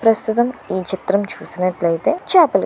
ప్రస్తుతం ఈ చిత్రం చూసినట్లయితే చేపలు --